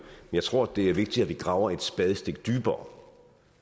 jeg tror det er vigtigt at vi graver et spadestik dybere